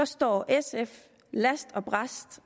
står sf last og brast